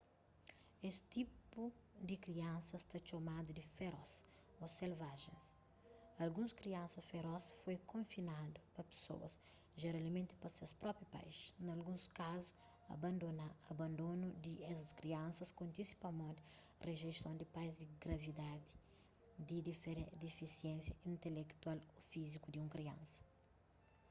es tipu di kriansas ta txomadu di feroz” ô selvagens”. alguns kriansas feroz foi konfinadu pa pesoas jeralmenti pa ses própi pais; na alguns kazu abandonu di es kriansas kontise pamodi rijeison di pais di gravidadi di difisiénsia intelektual ô fíziku di un kriansa